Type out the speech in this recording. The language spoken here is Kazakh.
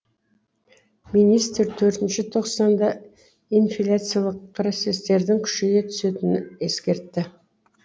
министр төртінші тоқсанда инфляциялық процестердің күшейе түсетінін ескертті